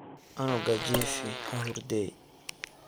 Cunuga jiifix hahurdey.